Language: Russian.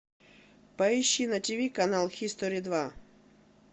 поищи на ти ви канал хистори два